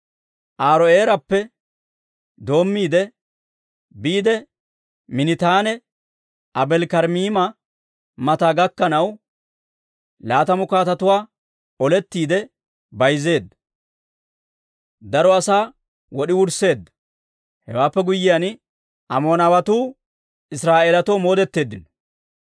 Aaro'eerappe doommiide, biide Miiniitanne Aabeeli-Karaamiima mata gakkanaw, laatamu katamatuwaa olettiide bayzzeedda; daro asaa wod'i wursseedda. Hewaappe guyyiyaan, Amoonawatuu Israa'eelatoo moodetteeddino.